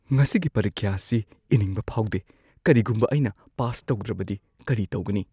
ꯉꯁꯤꯒꯤ ꯄꯔꯤꯈ꯭ꯌꯥ ꯑꯁꯤ ꯏꯅꯤꯡꯕ ꯐꯥꯎꯗꯦ꯫ ꯀꯔꯤꯒꯨꯝꯕ ꯑꯩꯅ ꯄꯥꯁ ꯇꯧꯗ꯭ꯔꯕꯗꯤ ꯀꯔꯤ ꯇꯧꯒꯅꯤ?